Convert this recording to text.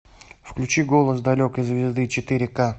включи голос далекой звезды четыре ка